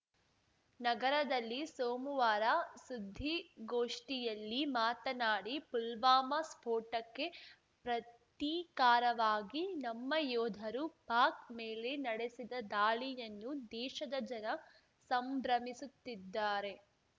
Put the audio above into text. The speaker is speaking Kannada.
ನಗರದಲ್ಲಿ ಸೋಮಮುವಾರ ಸುದ್ದಿಗೋಷ್ಠಿಯಲ್ಲಿ ಮಾತನಾಡಿ ಪುಲ್ವಾಮಾ ಸ್ಫೋಟಕ್ಕೆ ಪ್ರತೀಕಾರವಾಗಿ ನಮ್ಮ ಯೋಧರು ಪಾಕ್‌ ಮೇಲೆ ನಡೆಸಿದ ದಾಳಿಯನ್ನು ದೇಶದ ಜನ ಸಂಭ್ರಮಿಸುತ್ತಿದ್ದಾರೆ